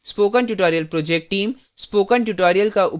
spoken tutorial project team